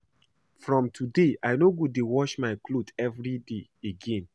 From today I no go dey wash my cloth everyday again